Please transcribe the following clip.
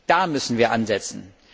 Da müssen wir ansetzen!